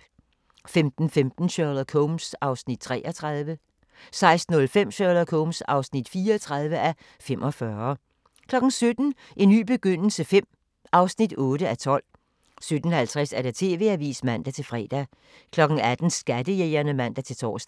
15:15: Sherlock Holmes (33:45) 16:05: Sherlock Holmes (34:45) 17:00: En ny begyndelse V (8:12) 17:50: TV-avisen (man-fre) 18:00: Skattejægerne (man-tor)